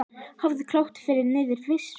Hófið- Klókt nýyrði yfir svindl?